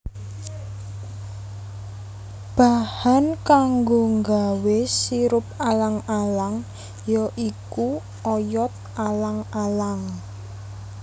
Bahan kanggo nggawé sirup alang alang ya iku oyot alang alang